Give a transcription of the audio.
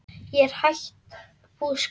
Ég er að hætta búskap.